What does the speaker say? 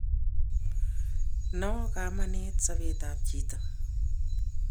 no kamanit sobetab chito